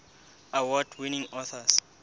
award winning authors